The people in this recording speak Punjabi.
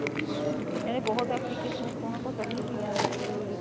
ਕਹਿੰਦੇ ਬਹੁਤ applications ਤਾਂ ਉਹਨਾਂ ਕੋਲ ਪਹਿਲਾਂ ਹੀ ਪਈਆਂ ਨੇ interview ਲਈ